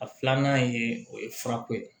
A filanan ye o ye furako ye